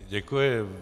Děkuji.